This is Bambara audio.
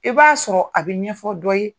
I b'a sɔrɔ a bi ɲɛfɔ dɔ ye